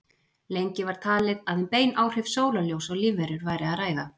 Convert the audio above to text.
lengi var talið að um bein áhrif sólarljóss á lífverur væri að ræða